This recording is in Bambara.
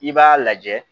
I b'a lajɛ